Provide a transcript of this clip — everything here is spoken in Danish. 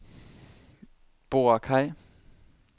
Boracay